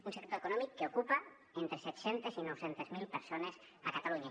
un sector econòmic que ocupa entre set cents i nou cents miler persones a catalunya